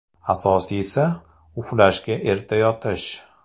Asosiysi – uxlashga erta yotish.